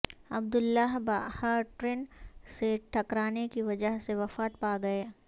عبداللہ Baha train سے ٹکرانے کی وجہ سے وفات پا گئے